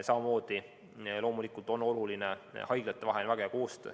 Samamoodi on loomulikult oluline haiglate väga hea koostöö.